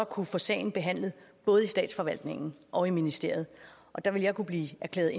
kunne få sagen behandlet både af statsforvaltningen og i ministeriet og der vil jeg kunne blive erklæret